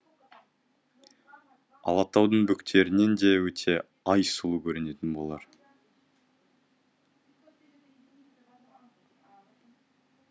алатаудың бөктерінен де өте ай сұлу көрінетін болар